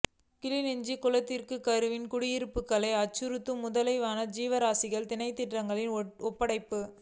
கிளிநொச்சி குளத்திற்கருகில் குடியிருப்புக்களை அச்சுறுத்திய முதலை வன ஜீவராசிகள் திணைக்களத்திடம் ஒப்படைப்பு